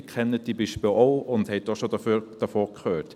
Sie kennen diese Beispiele auch und haben auch schon davon gehört.